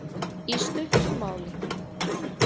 Í stuttu máli